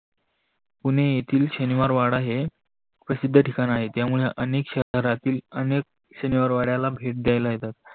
पुणे येतील शनिवारवाडा प्रसिद्ध ठिकाण आहे. त्यामुळे अनेक शहरातील अनेक शनिवार वाड्याला येतात.